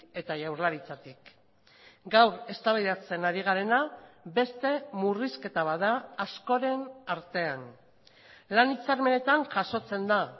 eta jaurlaritzatik gaur eztabaidatzen ari garena beste murrizketa bat da askoren artean lan hitzarmenetan jasotzen da